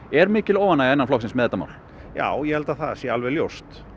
er mikil óánægja innan flokksins með þetta mál já ég held að það sé alveg ljóst